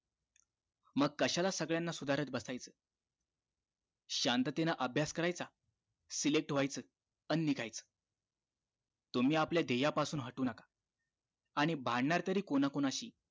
डोंबिवलीला परत जातो आता खूप महिने झाले.